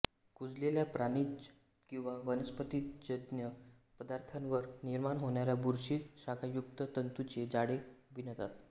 कुजलेल्या प्राणिज किंवा वनस्पतिजन्य पदार्थावर निर्माण होणाऱ्या बुरशी शाखायुक्त तंतूचे जाळे विणतात